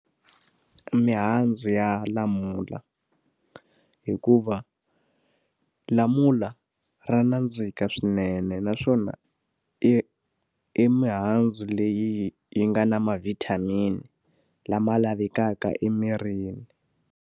Mihandzu ya lamula hikuva lamula ra nandzika swinene naswona, i i mihandzu leyi yi nga na ma-vitamin lama lavekaka emirini.